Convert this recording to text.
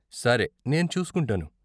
సరే, నేను చూసుకుంటాను.